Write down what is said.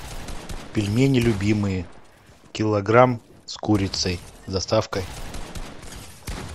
пельмени любимые килограмм с курицей с доставкой